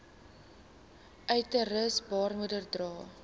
uterus baarmoeder dra